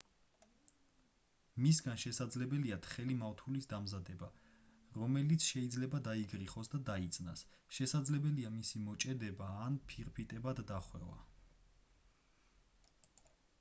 მისგან შესაძლებელია თხელი მავთულის დამზადება რომელიც შეიძლება დაიგრიხოს და დაიწნას შესაძლებელია მისი მიჭედება ან ფირფიტებად დახვევა